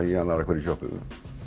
í annarri hverri sjoppu